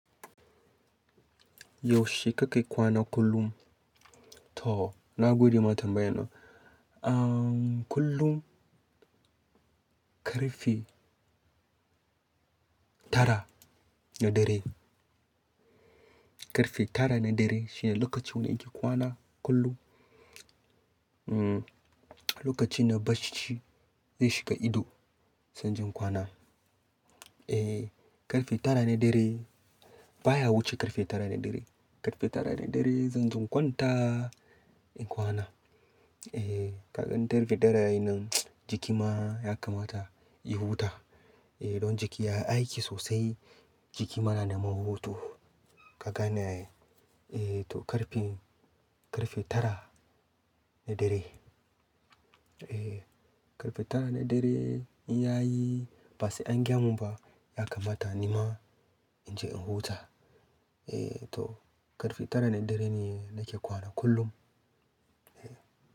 Yaushe kake kwana kullum? To, na gode ma tambaya nan. Kullum ƙarfe tara na dare. Ƙarfe tara na dare shine lokacin da in ke kwana kullum. Lokaci na bacci zai shiga ido, sai inje in kwana. Eh, ƙarfe tara na dare baya wuce ƙarfe tara na dare. Ƙarfe tara na dare zanje in kwanta in kwana. Eh, ka gan ƙarfe tara yayi nan, jiki ma ya kamata ya huta. Eh, don jiki yayi aiki sosai, jiki ma na neman hutu, ka gane ai? Eh to ƙarfe, ƙarfe tara na dare. Eh, ƙarfe tara na dare in yayi ba sai an gayamun ba, ya kamata nima in je in huta. Eh to ƙarfe tara na dare ne nake kwana kullum. Eh.